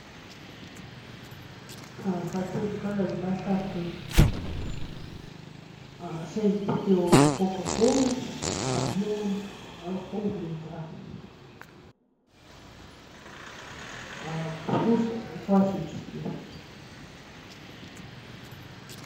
хочу заказать с доставкой шесть бутылок кока колы объемом пол литра вкус классический